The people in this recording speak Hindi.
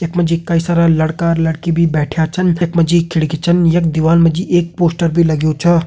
यकमा जी कई सारा लड़का लड़की भी बेठ्या छन यखमा जी खिड़की छन यक दिवाल म जी एक पोस्टर बी लग्यूं छा।